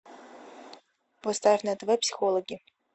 поставь на тв психологи